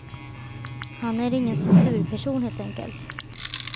Han är ingen censurperson, helt enkelt.